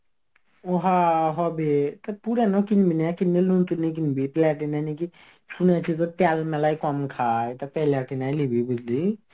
ওহা হবে তা পুরানো কিনবি না কিনলে নতুন ই কিনবি প্লাটিনা নাকি শুনেছি তো তেল মেলায় কম খায় প্লাটিনাই লিবি বুঝলি.